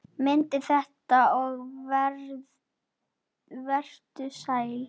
Mundu þetta og vertu sæll!